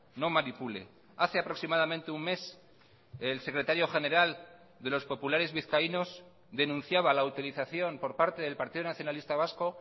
no manipule hace aproximadamente un mes el secretario general de los populares vizcaínos denunciaba la utilización por parte del partido nacionalista vasco